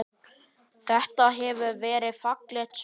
Þetta hefur verið fallegt sverð?